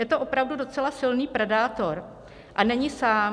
Je to opravdu docela silný predátor a není sám.